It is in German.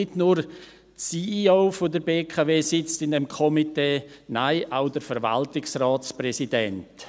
Nicht nur die CEO der BKW sitzt in diesem Komitee, nein, auch der Verwaltungsratspräsident.